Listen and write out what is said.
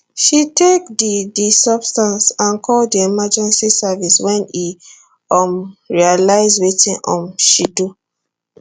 she take di di substance and call di emergency services wen e um realise wetin um she do